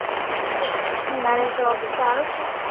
તારે job ચાલુ છે